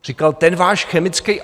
Říkal, ten váš chemický